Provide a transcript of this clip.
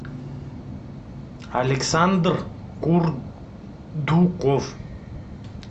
александр курдуков